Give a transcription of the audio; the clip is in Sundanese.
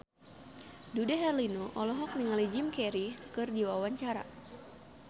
Dude Herlino olohok ningali Jim Carey keur diwawancara